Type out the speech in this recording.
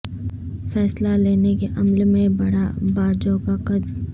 فیصلہ لینے کے عمل میں بڑھا باجوہ کا قد